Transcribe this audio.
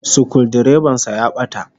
Sukuldireban sa ya bata